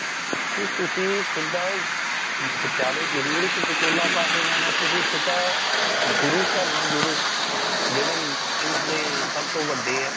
ਕਿ ਤੁਸੀ ਸਿੱਧਾ ਵਿਚਾਲੇ ਜਰੂਰ ਇੱਕ ਵਿਚੋਲਾ ਪਾਕੇ ਜਾਣਾ ਤੁਸੀ ਸਿੱਧਾ ਗੁਰੂ ਘਰ ਨਾਲ ਜੁੜੋ ਜੇੜੇ ਇਨ੍ਹਾਂ ਦੇ ਸਬ ਤੋਂ ਵੱਡੇ ਹੈ।